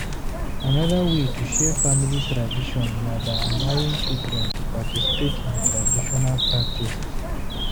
Anoda wey to share family tradition na by allowing children to participate in traditional practices